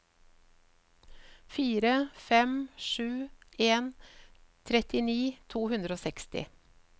fire fem sju en trettini to hundre og seksti